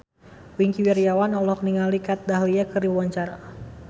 Wingky Wiryawan olohok ningali Kat Dahlia keur diwawancara